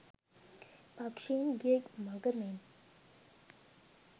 පක්‍ෂීන් ගිය මඟ මෙන්